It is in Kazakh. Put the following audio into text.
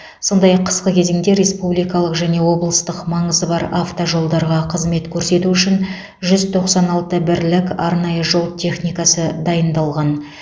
сондай ақ қысқы кезеңде республикалық және облыстық маңызы бар автожолдарға қызмет көрсету үшін жүз тоқсан алты бірлік арнайы жол техникасы дайындалған